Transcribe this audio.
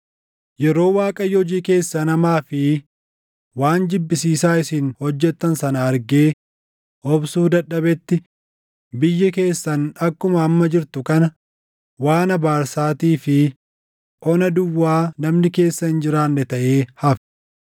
Yeroo Waaqayyo hojii keessan hamaa fi waan jibbisiisaa isin hojjettan sana argee obsuu dadhabetti biyyi keessan akkuma amma jirtu kana waan abaarsaatii fi ona duwwaa namni keessa hin jiraanne taʼee hafe.